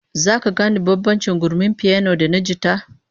Zaka gane bambancin gurmin piyano da na jita?